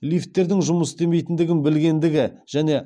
лифттердің жұмыс істемейтіндігін білгендігі және